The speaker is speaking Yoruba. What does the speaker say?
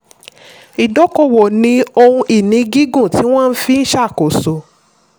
ìdókòwò ní ohun ìní gígùn tí wọ́n fi n ṣàkóso.